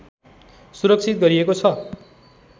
सुरक्षित गरिएको छ